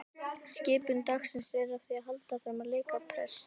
Skipun dagsins er því að halda áfram að leika prest.